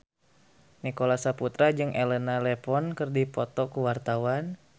Nicholas Saputra jeung Elena Levon keur dipoto ku wartawan